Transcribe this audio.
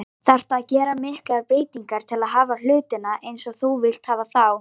Þarftu að gera miklar breytingar til að hafa hlutina eins og þú vilt hafa þá?